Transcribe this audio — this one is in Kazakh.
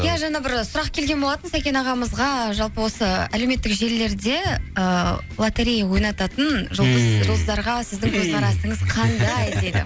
иә жаңа бір сұрақ келген болатын сәкен ағамызға жалпы осы әлеуметтік желілерде ыыы лоторея ойнататын жұлдыздарға сіздің көзқарасыңыз қандай